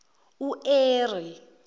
ueri